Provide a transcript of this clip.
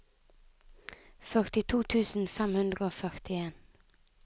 førtito tusen fem hundre og førtien